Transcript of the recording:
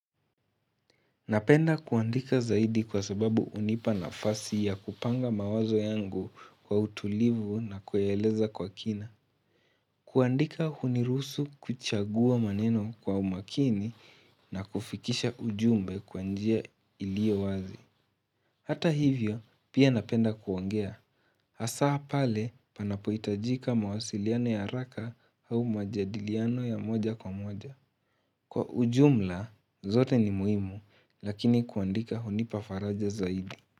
Napenda kuandika zaidi kwa sababu hunipa nafasi ya kupanga mawazo yangu kwa utulivu na kueleza kwa kina. Kuandika huniruhusu kuchagua maneno kwa umakini na kufikisha ujumbe kwa njia ilio wazi. Hata hivyo, pia napenda kuongea. Hasa pale panapohitajika mawasiliano ya haraka au majadiliano ya moja kwa moja. Kwa ujumla, zote ni muhimu lakini kuandika hunipa faraja zaidi.